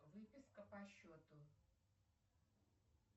выписка по счету